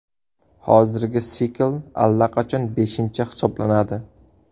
Hozirgi sikl allaqachon beshinchi hisoblanadi.